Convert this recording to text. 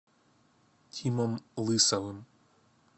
тимом лысовым